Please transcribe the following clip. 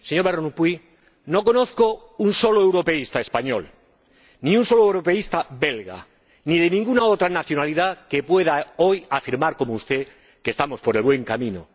Señor Van Rompuy, no conozco a un solo europeísta español ni a un solo europeísta belga ni de ninguna otra nacionalidad que pueda afirmar hoy, como usted, que estamos por el buen camino